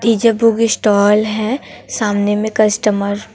नीचे book stall है सामने में कस्टमर --